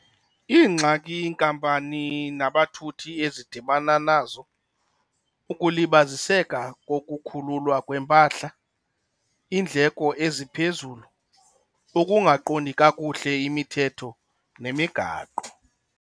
Iingxaki inkampani nabathuthi ezidibana nazo, ukulibaziseka kokukhululwa kwempahla, iindleko eziphezulu, ukungaqondi kakuhle imithetho nemigaqo.